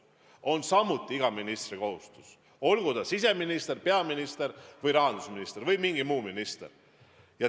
See on samuti iga ministri kohustus, olgu ta siseminister, peaminister, rahandusminister või mingi muu minister.